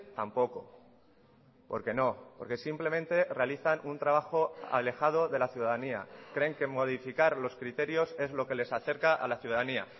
tampoco porque no porque simplemente realizan un trabajo alejado de la ciudadanía creen que modificar los criterios es lo que les acerca a la ciudadanía